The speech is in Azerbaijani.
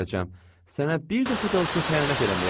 Sənə bir dəfə də olsun xəyanət eləməyəcəm.